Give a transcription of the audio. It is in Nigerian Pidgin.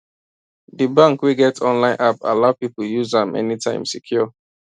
d bank wey get online app allow people use am anytime secure